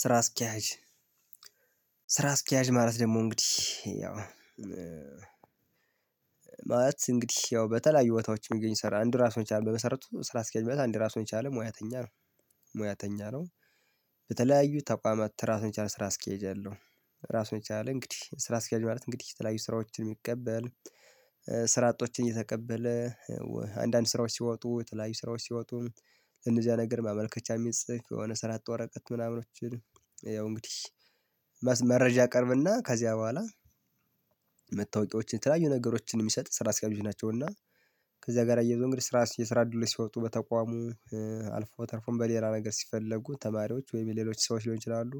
ስራ አስኪያጅ ስራ አስኪያጅ ማለት ደግሞ እንግዲህ ያው ማለት እንግዲህ ያው በተለያዩ ቦታዎች የሚገኝ ስራ አንድ ራሱን የቻለ በመሰረቱ ስራ አስኪያጅ ማለት አንድ ራሱን የቻለ ሙያተኛ ነው። ሙያተኛ ነው። በተለያዩ ተቋማት ራሱን የቻለ ስራ እስኪያጅ አለው። ራሱን የቻለ እንግዲህ ስራ አስኪያጅ ማለት እንግዲህ የተለያዩ ስራዎችን የሚቀበል ስራ አጦችን እየተቀበለ አንዳንድ ስራዎች ሲወጡ የተለያዩ ስራዎች ሲወጡ ለነዚያ ነገር ማመልከቻ የሚጽፍ የሆነ ስራ አጥ ወረቀት ምናምኖች። ያው እንግዲህ መረጃ ያቀርብና ከዚያ በኋላ መታወቂያዎችን የተለያዩ ነገሮችን የሚሰጥ ስራ አስክያጆች ናቸው። እና ከዛ ጋር አያይዞ እንግዲህ ስራ የስራ አድሎች ሲወጡ በተቋሙ አልፎ ተርፎም በሌላ ነገር ሲፈለጉ ተማሪዎች ወይም የሌሎች ሰዎች ሊሆን ይችላሉ።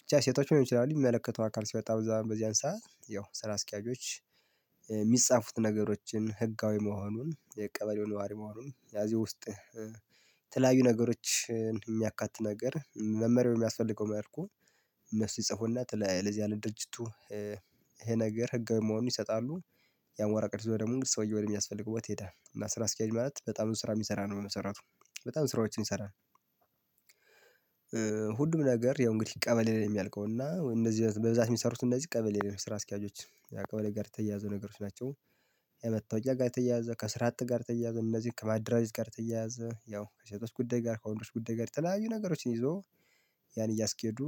ብቻ ሴቶችም ሊሆኑ ይችላሉ። የሚመለከተው አካል ሲወጣ በዛም በዚያን ሰዓት ያው ስራ አስኪያጆች። የሚጻፉት ነገሮችን ህጋዊ መሆኑን የቀበሌው ነዋሪ መሆኑን ያዚህ ውስጥ የተለያዩ ነገሮችን የሚያካትት ነገር መመሪያው በሚያስፈልገው መልኩ እነሱ ይጽፉና ለዚያ ለድርጅቱ ይሄ ነገር ህጋዊ መሆኑን ይሰጣሉ። ያን ወረቀት ይዞ ደግሞ ሰውየው ወደሚያስፈልገው ቦታ ይሄዳል። እና ስራ አስኪያጅ ማለት በጣም ብዙ ስራ የሚሰራ ነው በመሰረቱ በጣም ብዙ ስራዎችን ይሰራል። ሁሉም ነገር ያው እንግዲህ ቀበሌ ላይ ነው የሚያልቀው። እና እንደዚህ በብዛት የሚሰሩት እንደዚህ ቀበሌ ላይ ነው ስራ አስኪያጆች ያው ቀበሌ ጋር የተያያዙ ነገሮች ናቸው። ከመታወቂያ ጋር የተያያዘ ከስራ አጥ ጋር የተያያዘ እነዚህን ከማደራጀት ጋር የተያያዘ ያው ከሴቶስ ጉዳይ ጋር ከወንዶች ጉዳይ ጋር የተለያዩ ነገሮችን ይዞ ያን እያስኬዱ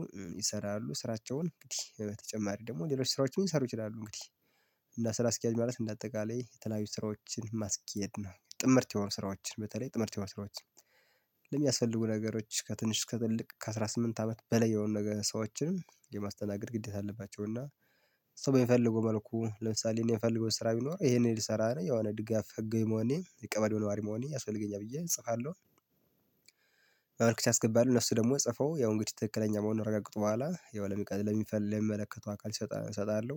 ይሰራሉ። ስራቸውን እንግዲህ በተጨማሪ ደግሞ ሌሎች ስራዎችን ሊሰሩ ይችላሉ። እንግዲህ እና ስራ አስኪያጅ ማለት እንደ አጠቃላይ የተለያዩ ስራዎችን ማስኬድ ነው። ጥምርት የሆኑ ስራዎችን በተለይ ጥምርት የሆኑ የማስረዋት ለሚያስፈልጉ ነገሮች ከትንሽ አስከ ትልቅ ከአሥራ ስምንት አመት በላይ የሆኑ ነገር ሰዎችን የማስተናገድ ግዴታ አለባቸው። እና ሰው በሚፈልገው መልኩ ለምሳሌ እኔ የምፈልገው ስራ ቢኖር ይሄንን ልሰራ ነው የሆነ ድጋፍ ሕጋዊ መሆኔ የቀበሌው ነዋሪ መሆኔ ያስፈልገኛ ብዬ እጽፋለሁ። ማመልከቻ አስገባለሁ እነሱ ደግሞ ጽፈው ያው እንግዲህ ትክክለኛ መሆኑን ካረጋገጡ በኋላ የው ለሚቀድ ለሚፈልግ ለሚመለከተው አካል እሰጣለሁ።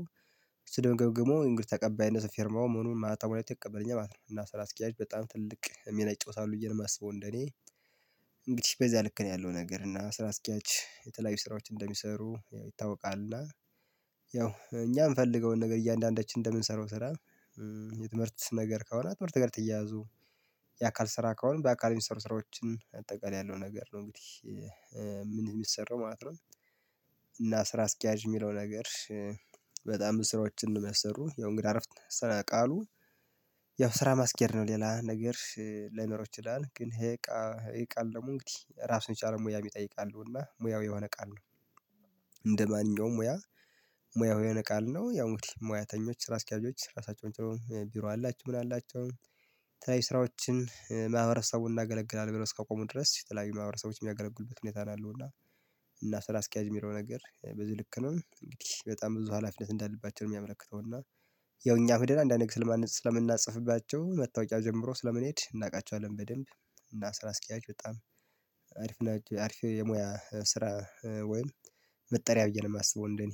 እሱ ደግሞ ገምግሞ እንግዲህ ተቀባይነቱን ፊርማውን ምኑን ማህተሙን አይቶ ይቀበለኛል ማለት ነው። እና ስራ አስኪያጅ በጣም ትልቅ ሚና ይጫወታሉ ብዬ ነው የማስበው። እንደኔ እንግዲህ በዚያ ልክ ነው ያለው ነገር እና ስራ አስኪያጅ የተለያዩ ስራዎችን እንደሚሰሩ ይታወቃል። ያው እኛ የምፈልገውን ነገር እያንዳንዳችን እንደምንሰራው ስራ። የትምህርት ነገር ከሆነ ትምህርት ጋር የተያዙ የአካል ስራ ከሆነ በአካል የሚሰሩ ስራዎችን አጠቃላይ ያለው ነገር ነው እንግዲህ። ምን የሚሰራው ማለት ነው? እና ስራ አስኪያጅ የሚለው ነገር። በጣም ብዙ ስራዎችን አንደሚያሰሩ ያው እንግዲህ አረፍት ስነ ቃሉ ያው ስራ ማስኬድ ነው ሌላ ነገር ላይኖረው ይችላል። ግን ይሄ ቃል ደግሞ እንግዲህ ራሱን የቻለ ሙያ የሚጠይቅ ቃል ነው። እና ሙያው የሆነ ቃል ነው። እንደማንኛውም ሙያ ሙያው የሆነ ቃል ነው። ያው ሙያተኞች ስራ አስኪያጆች ሪሳቸውን ጥሩ ቢሮ አላችሁ ምን አላቸው? የተለያዩ ስራዎችን ማህበረሰቡን እናገለግላለን ብሎ እከቆሙ ድረስ የተለያዩ ማህበረሰቦችን የሚያገለግሉበት ሁኔታ ነው ያለው። እና እና ስራ አስኪያጅ የሚለው ነገር በዚህ ልክ ነው። እንግዲህ በጣም ብዙ ሀላፊነት እንዳለባቸው የሚያመለክተው እና ያው እኛ ሂደን አንዳንድ ስለምናጸፍባቸው መታወቂያው ጀምሮ ስለምንሄድ እናውቃቸዋለን በደንብ። እና ስራ አስኪያጅ በጣም አሪፍ ናቸው አሪፍ የሙያ ስራ ወይም መጠሪያ ብዬ ነው የማስበው። እንደኔ